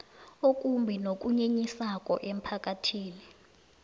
okumbi nokunyenyisako emphakathini